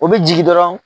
O bɛ jigin dɔrɔn